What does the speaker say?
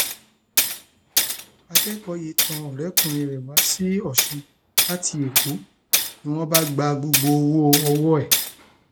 akẹkọọ yìí tan ọrẹkùnrin rẹ wá sí ọsún láti èkó ni wọn bá gba gbogbo owó ọwọ ẹ